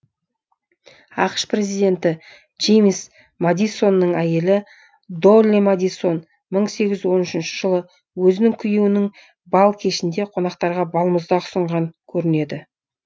ақш президенті джеймс мадисонның әйелі долли мадисон мың сегіз жүз он үшінші жылы өзінің күйеуінің бал кешінде қонақтарға балмұздақ ұсынған көрінеді